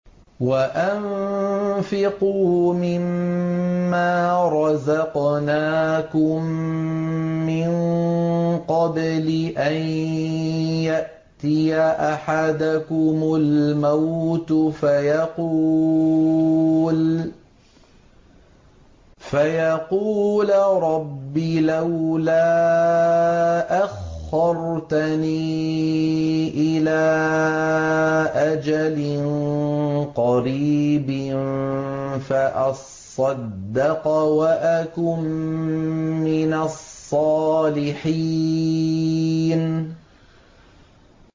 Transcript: وَأَنفِقُوا مِن مَّا رَزَقْنَاكُم مِّن قَبْلِ أَن يَأْتِيَ أَحَدَكُمُ الْمَوْتُ فَيَقُولَ رَبِّ لَوْلَا أَخَّرْتَنِي إِلَىٰ أَجَلٍ قَرِيبٍ فَأَصَّدَّقَ وَأَكُن مِّنَ الصَّالِحِينَ